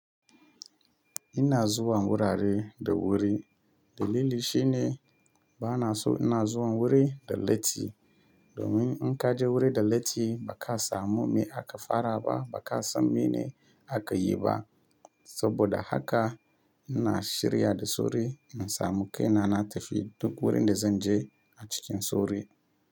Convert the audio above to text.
Ina zuwa wurare da wuri. Dalili shine ba na so ina zuwan wuri da latti. Domin in ka je wuri da latti ba ka samu me aka fara ba, ba ka san mene aka yi ba. Saboda haka ina shirya da sauri in samu kai na, na tafi duk wurin da zan je a cikin sauri.